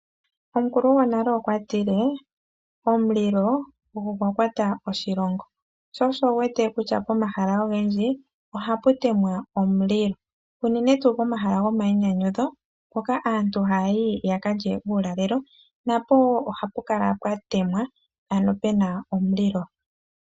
Omukulu gonale okwa tile:"Omulilo ogo gwa kwata oshilongo." Sho osho wu wete kutya pomahala ogendji ohapu temwa omulilo unene tuu pomahala gomayinyanyudho hoka aantu haya yi ya ka lye uulalelo, na po wo ohapu kala pwa temwa, ano pu na omulilo.